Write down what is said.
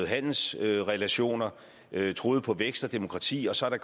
handelsrelationer troet på vækst og demokrati og så er